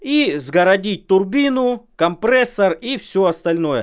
и сгородить турбину компрессор и всё остальное